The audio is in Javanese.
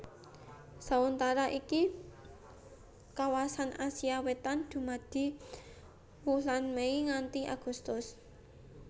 Sauntara ing kawasan Asia Wétan dumadi wulan Mei nganti Agustus